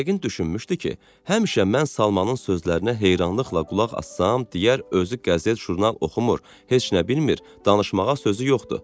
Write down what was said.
Yəqin düşünmüşdü ki, həmişə mən Salmanın sözlərinə heyranlıqla qulaq assam, deyər özü qəzet-jurnal oxumur, heç nə bilmir, danışmağa sözü yoxdur.